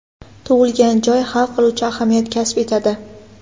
Tug‘ilgan joy hal qiluvchi ahamiyat kasb etadi.